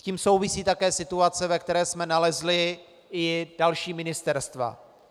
S tím souvisí také situace, ve které jsme nalezli i další ministerstva.